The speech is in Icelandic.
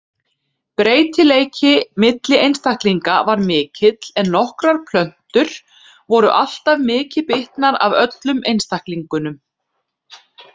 Breytileiki milli einstaklinga var mikill en nokkrar plöntur voru alltaf mikið bitnar af öllum einstaklingunum.